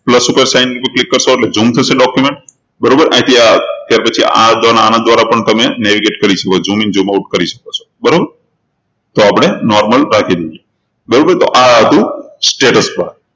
plus ઉપર sign ઉપર click કરશો એટલે zoom થશે document બરોબર અહીંથી આ પછી આના દ્વારા પણ તમે navigate કરી શકો છો zoom in zoom out કરી શકો છો બરોબર આપણે normal રાખી દઈએ બરોબર તો આ હતું status bar